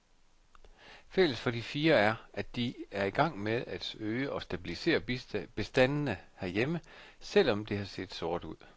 Fælles for de fire er, at de er i gang med at øge og stabilisere bestandene herhjemme, selv om det har set sort ud.